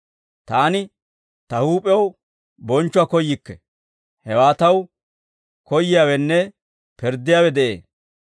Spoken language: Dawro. Taani Ta huup'iyaw bonchchuwaa koyyikke; hewaa Taw koyyiyaawenne pirddiyaawe de'ee.